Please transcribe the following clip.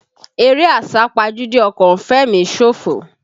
Eré àsápajúdé ọkọ̀ ń fẹ̀mí ṣòfò.